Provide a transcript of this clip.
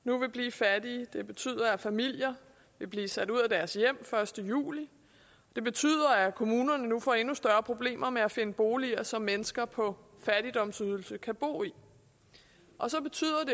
nu vil blive fattige det betyder at familier vil blive sat ud af deres hjem den første juli det betyder at kommunerne nu får endnu større problemer med at finde boliger som mennesker på fattigdomsydelse kan bo i og så betyder